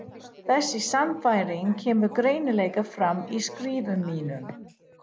Þessi sannfæring kemur greinilega fram í skrifum mínum.